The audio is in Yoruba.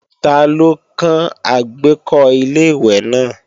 Ta ló kán àgbékọ́ Ilé-ìwẹ̀ náà